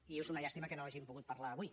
i és una llàstima que no hagin pogut parlar avui